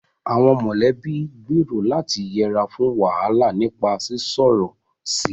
Àwọn mọ̀lẹ́bí gbèrò láti yẹra fún wàhálà nípa sísọ̀rọ̀ sí i